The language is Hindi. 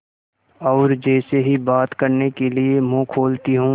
और जैसे ही बात करने के लिए मुँह खोलती हूँ